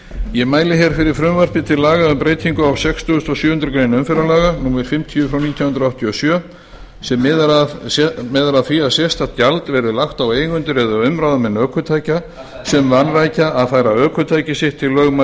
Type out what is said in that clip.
ég mæli hér fyrir frumvarpi til laga um breytingu á sextugasta og sjöundu greinar umferðarlaga númer fimmtíu nítján hundruð áttatíu og sjö sem miðar að því að sérstakt gjald verði lagt á eigendur eða umráðamenn ökutækja sem vanrækja að færa ökutæki sitt til